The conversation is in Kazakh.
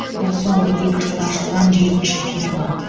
бұл соңғы екі жылда ашылған жетінші ферма